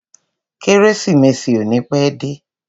Kérésìmesì ò ní pẹ́ dé.